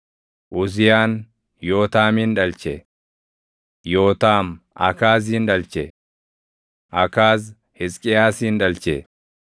Uziyaan Yootaamin dhalche; Yootaam Akaazin dhalche; Akaaz Hisqiyaasin dhalche;